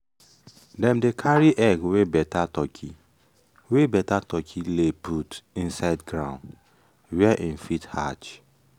dem dey carry egg wey better turkey wey better turkey lay put inside ground where em fit hatch